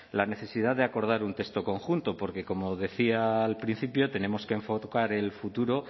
la necesidad de acordar un texto conjunto porque como decía al principio tenemos que enfocar el futuro